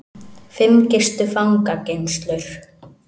Fimm gistu fangageymslur